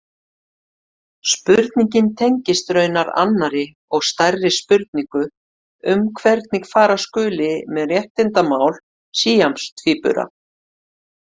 Spurningin tengist raunar annarri og stærri spurningu um hvernig fara skuli með réttindamál síamstvíbura.